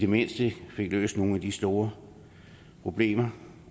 mindste fik løst nogle af de store problemer